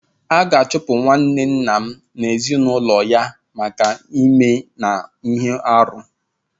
A ga-achụpụ nwanne nna m na ezinụlọ ya maka ime na ihe arụ.